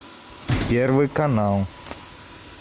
первый канал